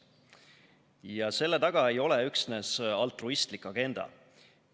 Ja selle taga ei ole üksnes altruistlik agenda.